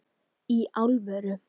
Í alvöru?